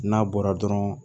N'a bɔra dɔrɔn